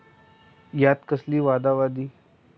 यात कसली वादावादी!